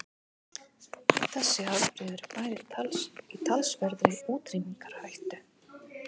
Þessi afbrigði eru bæði í talsverðri útrýmingarhættu.